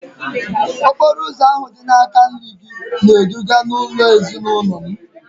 okporo ụzọ ahụ dị n’aka nri gị na-eduga n’ụlọ ezinụlọ m